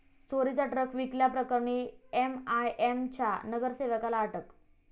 चोरीचा ट्रक विकल्याप्रकरणी एमआयएमच्या नगरसेवकाला अटक